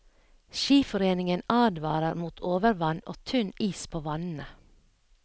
Skiforeningen advarer mot overvann og tynn is på vannene.